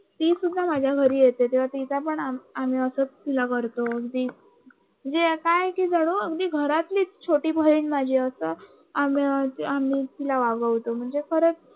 ती सुद्धा माझ्या घरी येते तेव्हा तिला सुद्धा आम्ही असंच करतो अगदी काय की जणू अगदी घरातलीच छोटी बहीण माझी अस आम्ही मी तिला वागवतो म्हणजे खरच